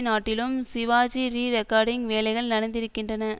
நாட்டிலும் சிவாஜி ரீரெக்கார்டிங் வேலைகள் நடந்திருக்கின்றன